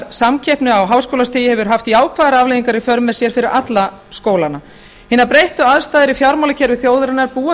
samkeppni á háskólastigi hefur haft jákvæðar afleiðingar í för með sér fyrir alla skólana hinar breyttu aðstæður í fjármálakerfi þjóðarinnar búa